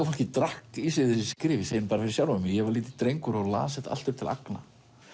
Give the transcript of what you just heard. fólkið drakk í sig þessi skrif ég segi fyrir sjálfan mig ég var lítill drengur og las þetta allt upp til agna